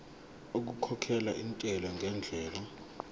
okukhokhela intela ngendlela